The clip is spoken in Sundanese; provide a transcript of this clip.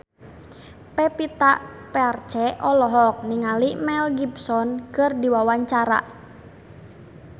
Pevita Pearce olohok ningali Mel Gibson keur diwawancara